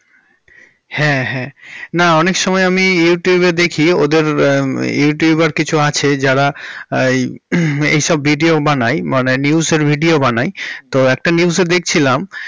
হ্যাঁ হ্যাঁ না অনেক সময় আমি youtube এ দেখি ওদের youtuber র কিছু আছে যারা হমম এই সব video বানায় মানে news এর video বানাই। তো একটা news এ দেখছিলাম।